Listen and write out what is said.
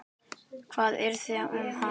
Hvað yrði um hana?